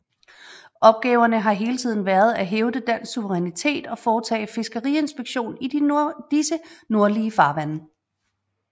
Opgaverne har hele tiden været at hævde dansk suverænitet og foretage fiskeriinspektion i disse nordlige farvande